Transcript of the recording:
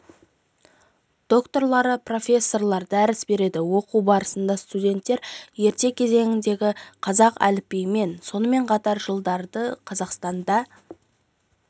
докторлары профессорлар дәріс береді оқу барысында студенттер ерте кезеңдердегі қазақ әліпбиімен сонымен қатар жылдарды қазақстанда